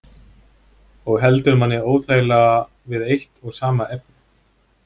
Og heldur manni óþægilega við eitt og sama efnið.